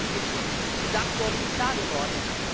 Das ist verschiedentlich schon gesagt worden und klar geworden.